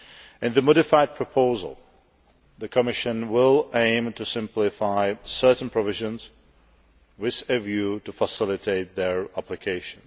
In the modified proposal, the Commission will aim to simplify certain provisions with a view to facilitating their application.